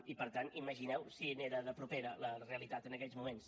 i per tant imagineu si n’era de propera la realitat en aquells moments